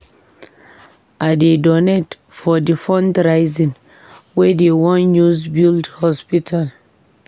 I go donate for di fundraising wey dey wan use build hospital.